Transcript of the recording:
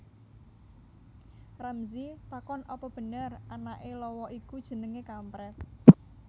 Ramzy takon apa bener anake lawa iku jenenge kampret